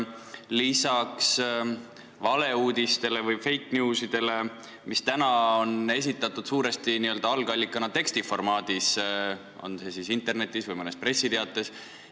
Praegu esinevad valeuudised ehk fake news'id n-ö algallikana enamasti tekstiformaadis, olgu internetis või mõnes pressiteates.